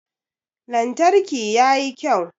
Lantarki ya yi kyau.